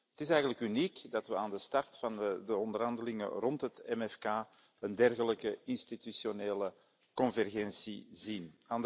Het is eigenlijk uniek dat we aan de start van de onderhandelingen rond het MFK een dergelijke institutionele convergentie zien.